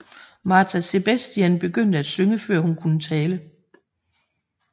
Márta Sebestyén begyndte at synge før hun kunne tale